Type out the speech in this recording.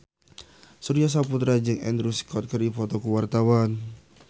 Surya Saputra jeung Andrew Scott keur dipoto ku wartawan